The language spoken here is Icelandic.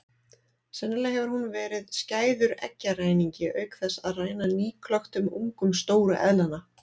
Sennilega hefur hún verið skæður eggjaræningi auk þess að ræna nýklöktum ungum stóru eðlanna.